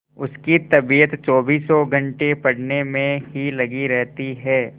उसकी तबीयत चौबीसों घंटे पढ़ने में ही लगी रहती है